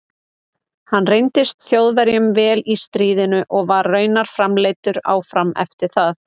Hann reyndist Þjóðverjum vel í stríðinu og var raunar framleiddur áfram eftir það.